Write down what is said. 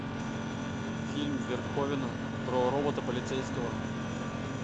фильм верховена про робота полицейского